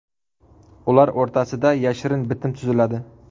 Ular o‘rtasida yashirin bitim tuziladi.